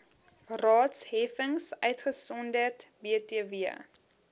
raadsheffings uitgesonderd btw